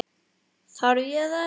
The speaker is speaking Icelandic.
Þarf ég þess?